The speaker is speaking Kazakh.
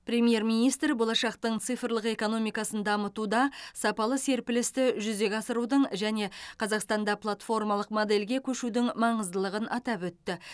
премьер министр болашақтың цифрлық экономикасын дамытуда сапалы серпілісті жүзеге асырудың және қазақстанда платформалық модельге көшудің маңыздылығын атап өтті